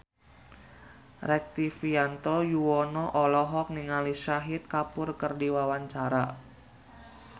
Rektivianto Yoewono olohok ningali Shahid Kapoor keur diwawancara